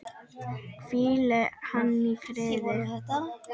Hvíli hann í friði.